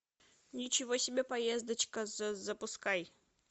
ничего себе поездочка запускай